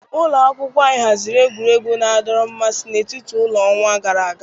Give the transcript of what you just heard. Ụlọ akwụkwọ anyị haziri egwuregwu na-adọrọ mmasị n'etiti ụlọ n'ọnwa gara aga.